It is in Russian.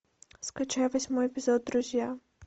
скачай восьмой эпизод друзья